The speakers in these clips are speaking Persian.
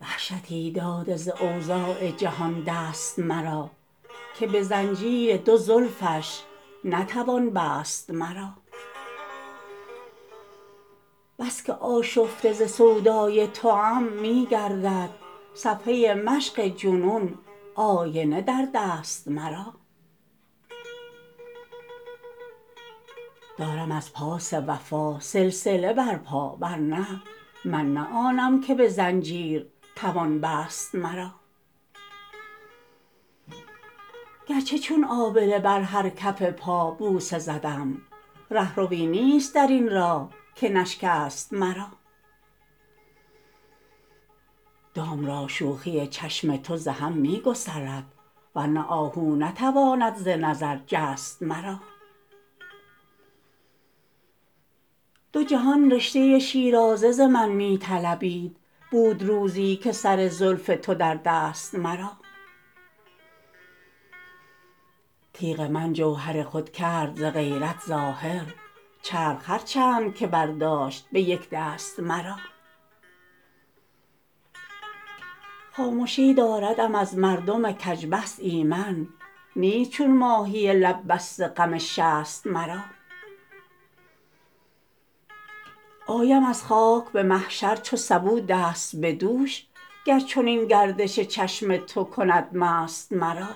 وحشتی داده ز اوضاع جهان دست مرا که به زنجیر دو زلفش نتوان بست مرا بس که آشفته ز سودای توام می گردد صفحه مشق جنون آینه در دست مرا دارم از پاس وفا سلسله بر پا ورنه من نه آنم که به زنجیر توان بست مرا گرچه چون آبله بر هر کف پا بوسه زدم رهروی نیست درین راه که نشکست مرا دام را شوخی چشم تو ز هم می گسلد ورنه آهو نتواند ز نظر جست مرا دو جهان رشته شیرازه ز من می طلبید بود روزی که سر زلف تو در دست مرا تیغ من جوهر خود کرد ز غیرت ظاهر چرخ هر چند که برداشت به یک دست مرا خامشی داردم از مردم کج بحث ایمن نیست چون ماهی لب بسته غم شست مرا آیم از خاک به محشر چو سبو دست به دوش گر چنین گردش چشم تو کند مست مرا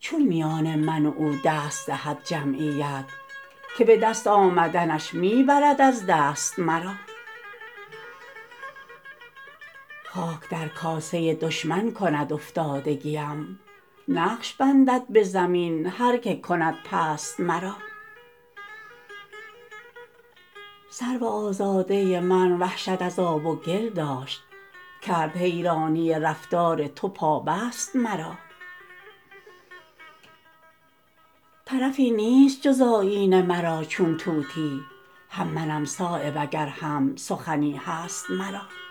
چون میان من و او دست دهد جمعیت که به دست آمدنش می برد از دست مرا خاک در کاسه دشمن کند افتادگیم نقش بندد به زمین هر که کند پست مرا سرو آزاده من وحشت از آب و گل داشت کرد حیرانی رفتار تو پابست مرا طرفی نیست جز آیینه مرا چون طوطی هم منم صایب اگر هم سخنی هست مرا